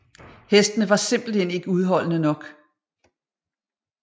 Hestene var simpelthen ikke udholdende nok